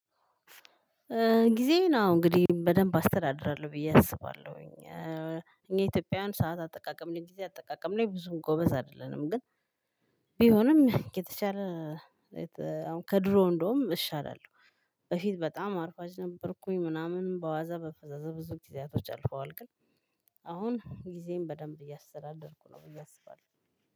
ጊዜየን አዎ እንግዲህ በደንብ አስተዳድራለሁ ብየ አስባለሁኝ። እኛ ኢትዮጵያውያን ሰዓት አጠቃቀም ላይ ጊዜ አጠቃቀም ላይ ብዙም ጎበዝ አይደለንም ግን ቢሆንም ከተቻለ አሁን ከድሮ እንደውም እሻላለሁ። በፊት በጣም አርፋጅ ነበርኩኝ ምናምን በዋዛ በፈዛዛ ብዙ ጊዜያቶች አልፈዋል። ግን አሁን ጊዜየን በደንብ እያስተዳደርኩ ነው ብዬ አስባለሁ።